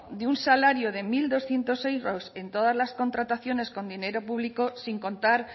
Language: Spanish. de un salario de mil doscientos euros en todas las contrataciones con dinero público sin contar